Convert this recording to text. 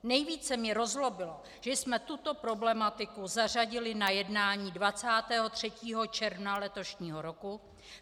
Nejvíce mě rozzlobilo, že jsme tuto problematiku zařadili na jednání 23. června letošního roku.